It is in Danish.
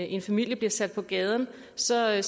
en familie bliver sat på gaden så er